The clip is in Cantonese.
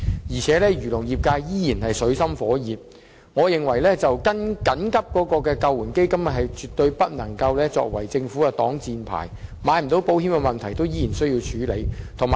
漁農業界仍處於水深火熱中，我認為緊急救援基金絕對不能作為政府的擋箭牌，漁農業界未能購買保險的問題仍需要處理。